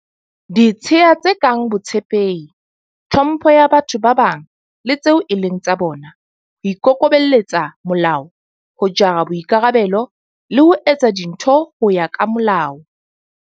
Ditshiya tse kang botshepehi, tlhompho ya batho ba bang, le tseo e leng tsa bona, ho ikokobelletsa molao, ho jara boikarabelo, le ho etsa dintho ho ya ka molao.